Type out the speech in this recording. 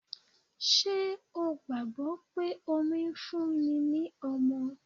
Ṣé o gbàgbọ́ pé omi fún ni ní ọmọ?